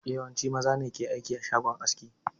Yawanci maza ne ke aiki a shagon aski